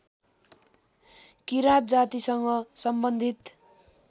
किराँत जातिसँग सम्बन्धित